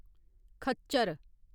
खच्चर